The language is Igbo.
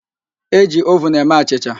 E ji ovun eme achịcha